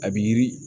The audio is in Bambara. A bi yiri